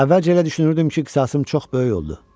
Əvvəlcə elə düşünürdüm ki, qisasım çox böyük oldu.